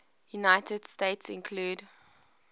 united states include